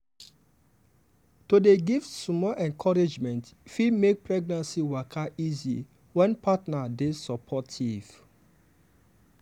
to dey give small encouragement fit make pregnancy waka easy when partner dey supportive.